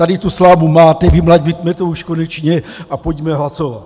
Tady tu slámu máte, vymlaťme to už konečně a pojďme hlasovat!